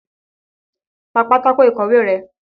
Pa pátákó ìkọ̀wé rẹ́!